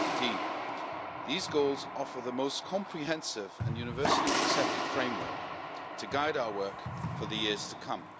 2015. These goals offer the most comprehensive and universally accepted framework to guide our work for the years to come.